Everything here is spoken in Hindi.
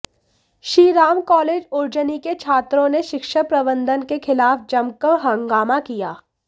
श्री राम कॉलेज उर्जनी के छात्रों ने शिक्षण प्रबंधन के खिलाफ जमकर हंगामा किया